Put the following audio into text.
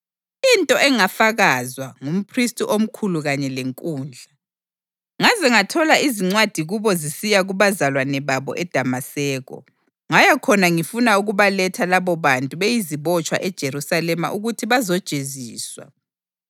into engafakazwa ngumphristi omkhulu kanye lenkundla. Ngaze ngathola izincwadi kubo zisiya kubazalwane babo eDamaseko, ngaya khona ngifuna ukubaletha labobantu beyizibotshwa eJerusalema ukuthi bazojeziswa.